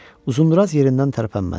Uzunduraz yerindən tərpənmədi.